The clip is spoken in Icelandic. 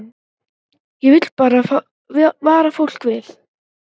Ég vil bara vara fólk við.